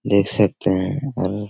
देख सकते हैं और --